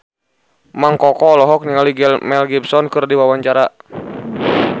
Mang Koko olohok ningali Mel Gibson keur diwawancara